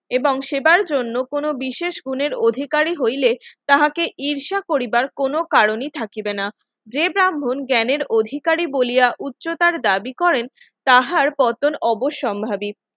এবং সেবার জন্য কোন বিশেষ গুণের অধিকারী হইলে তাহাকে ঈর্ষা পরিবার কোন কারণেই থাকিবে না যে ব্রাহ্মণ জ্ঞানের অধিকারী বলিয়া উচ্চতার দাবি করেন তাহার পতন অবশ্যম্ভাবী